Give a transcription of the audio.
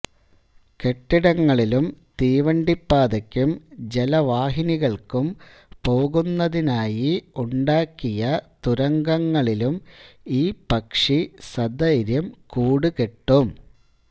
കെട്ടിടങ്ങളിലും തീവണ്ടിപ്പാതയ്ക്കും ജലവാഹിനികൾക്കും പോകുന്നതിനായി ഉണ്ടാക്കിയ തുരങ്കങ്ങളിലും ഈ പക്ഷി സധൈര്യം കൂട് കെട്ടും